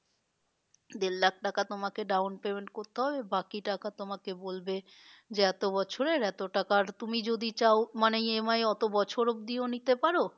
দেড় লাখ তোমাকে down payment করতে হবে বাকি টাকা তোমাকে বলবে যে এতো বছরের এতো টাকার তুমি যদি চাও মানে EMI অত বছর অবধিও নিতে পারো